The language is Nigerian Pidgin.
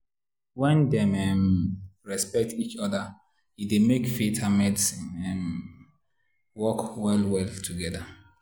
when dem um respect each other e dey make faith and medicine um work well well together.